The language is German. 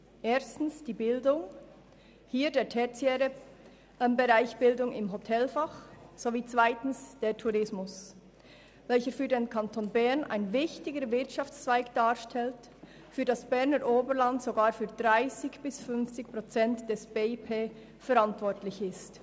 Erstens die Bildung, hier der tertiäre Bereich im Hotelfach, sowie zweitens der Tourismus, welcher für den Kanton Bern einen wichtigen Wirtschaftszweig darstellt und für das Berner Oberland sogar für 30 bis 50 Prozent des BIP verantwortlich ist.